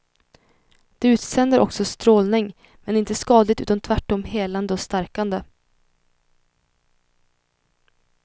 De utsänder också strålning men inte skadlig utan tvärtom helande och stärkande.